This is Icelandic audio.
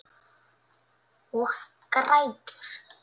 Og grætur.